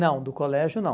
Não, do colégio não.